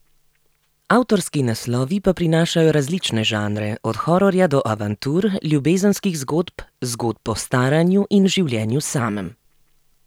Avtorski naslovi pa prinašajo različne žanre, od hororja do avantur, ljubezenskih zgodb, zgodb o staranju in življenju samem.